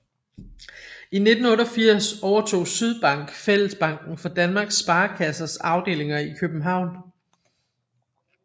I 1988 overtog Sydbank Fællesbanken for Danmarks Sparekassers afdelinger i København